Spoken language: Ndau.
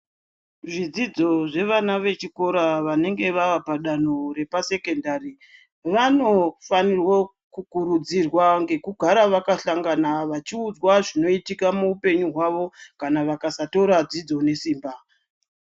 Zvidzidzo zvevana vechikora vanenge vaapadanho repasekendari, vanofanirwa kukurudzirwa ngekugara vakahlangana vachiudzwa zvinoitika muupenyu hwavo, kana vakasatora dzidzo nesimba.